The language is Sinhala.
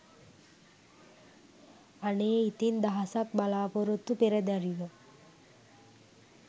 අනේ ඉතිං දහසක් බලාපොරොත්තු පෙරදැරිව